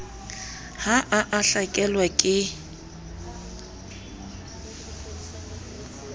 ha a a hlakelwa ke